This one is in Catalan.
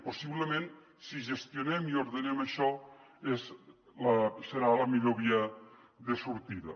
possiblement si gestionem i ordenem això serà la millor via de sortida